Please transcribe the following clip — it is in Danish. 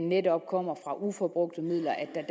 netop kommer fra ubrugte midler